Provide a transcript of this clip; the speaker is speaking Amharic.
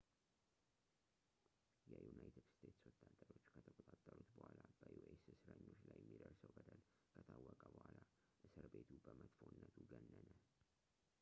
የዩናይትድ ስቴትስ ወታደሮች ከተቆጣጠሩት በኋላ በus እስረኞች ላይ የሚደርሰው በደል ከታወቀ በኋላ እስር ቤቱ በመጥፎነቱ ገነነ